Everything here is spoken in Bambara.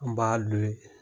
An b'a